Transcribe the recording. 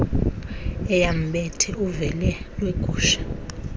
eyambethe ufele lwegusha